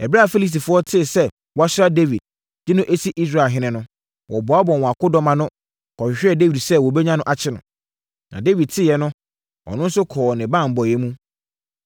Ɛberɛ a Filistifoɔ tee sɛ wɔasra Dawid, de no asi Israelhene no, wɔboaboaa wɔn akodɔm ano, kɔhwehwɛɛ Dawid sɛ wɔbɛnya no akye no. Na Dawid teeɛ no, ɔno nso kɔɔ ne banbɔeɛm.